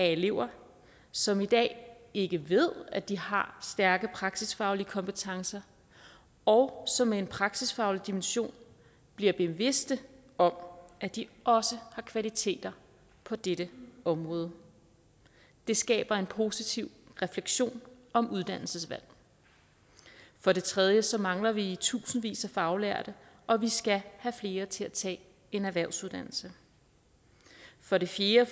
elever som i dag ikke ved at de har stærke praksisfaglige kompetencer og som med en praksisfaglig dimension bliver bevidste om at de også har kvaliteter på dette område det skaber en positiv refleksion om uddannelsesvalg for det tredje så mangler vi i tusindvis af faglærte og vi skal have flere til at tage en erhvervsuddannelse for det fjerde